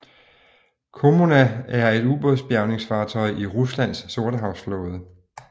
Kommuna er et ubådsbjærgingfartøj i Ruslands sortehavsflåde